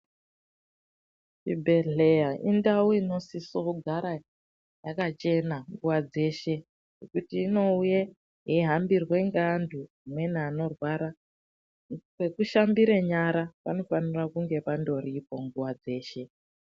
Chibhedhleya indau inosiso kugara yakachena nguva dzeshe nekuti inouye yeihambirwe ngeantu amweni anorwara, pekushambire nyara panofanira pandoripo nguva dzeshe.